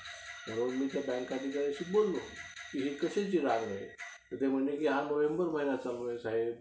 School ची bus होती व्हयं? आमच्या घराच्या पाठीमागे शाळा होती. आमचा घराच्या पाठीमागे शाळा होती.